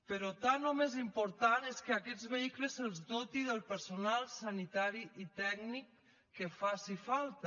però tant o més important és que a aquests vehicles se’ls doti del personal sanitari i tècnic que faci falta